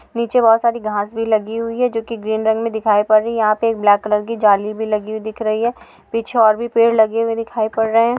नीचे बहुत सारी घाँस भी लगी हुई हैं जो कि ग्रीन रंग मे दिखाई पड रही हैं यहाँ पे एक ब्लैक कलर की जली भी लगी हुई दिख रही हैं पिछे और भी पेड लगे हुये दिखाई पड़ रहे हैं।